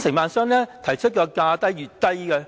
承辦商提出的價格越低，越